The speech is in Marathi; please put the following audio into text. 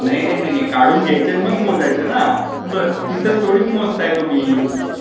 नाही नाही काढून घ्यायचे मग मोजायचे ना. तिथेच थोडी मोजताय तुम्ही.